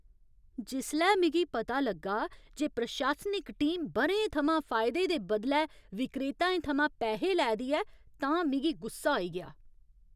जिसलै मिगी पता लग्गा जे प्रशासनिक टीम ब'रें थमां फायदे दे बदलै विक्रेताएं थमां पैहे लै दी ऐ तां मिगी गुस्सा आई गेआ।